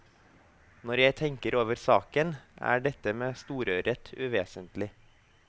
Når jeg tenker over saken, er dette med storørret uvesentlig.